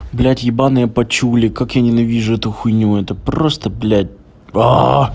блядь ебаные пачули как я ненавижу эту хуйню это просто блядь